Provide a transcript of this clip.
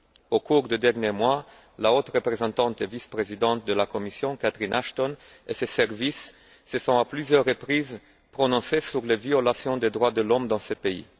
Au cours des derniers mois, la haute représentante vice présidente de la Commission, Catherine Ashton, et ses services se sont à plusieurs reprises prononcés sur les violations des droits de l'homme dans ce pays.